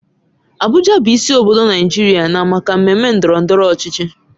Abuja bụ isi obodo Naijiria na maka mmemme ndọrọ ndọrọ ọchịchị.